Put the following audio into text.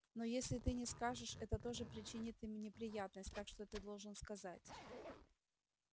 но если ты не скажешь это тоже причинит им неприятность так что ты должен сказать